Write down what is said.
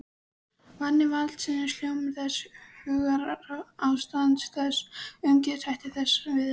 Vani valdsins, hljómur þess, hugarástand þess, umgengnishættir þess við aðra.